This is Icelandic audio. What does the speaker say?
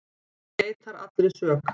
Hann neitar allri sök